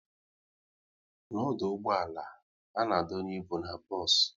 N'ọdụ ụgbọala, a na-adonye ịbụ n'bos